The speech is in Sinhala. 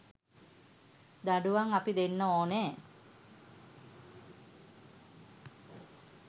දඬුවම් අපි දෙන්න ඕනෙ